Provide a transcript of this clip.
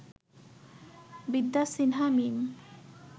বিদ্যা সিনহা মিম